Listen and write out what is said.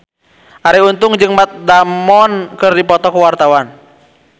Arie Untung jeung Matt Damon keur dipoto ku wartawan